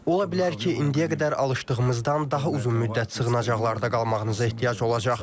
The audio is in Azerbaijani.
Ola bilər ki, indiyə qədər alışdığımızdan daha uzun müddət sığınacaqlarda qalmağınıza ehtiyac olacaq.